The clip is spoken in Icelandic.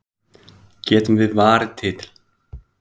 Getum við varið titilinn?